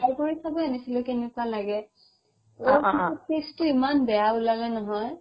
খাই চাব আনিছিলো কেনেকুৱা লাগে ঔ পিছত taste টো ইমান বেয়া উলালে নহয়